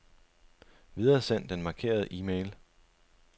Videresend den markerede e-mail.